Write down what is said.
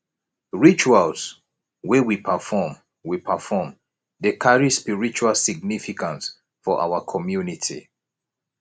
rituals wey we perform we perform dey carry spiritual significance for our community